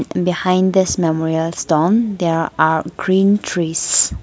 behind this memorial stone there are green trees.